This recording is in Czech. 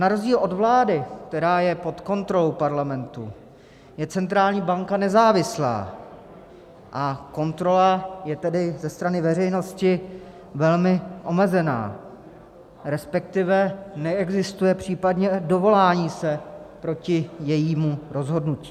N rozdíl od vlády, která je pod kontrolou Parlamentu, je centrální banka nezávislá, a kontrola je tedy ze strany veřejnosti velmi omezená, respektive neexistuje případně dovolání se proti jejímu rozhodnutí.